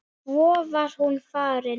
Svo var hún farin.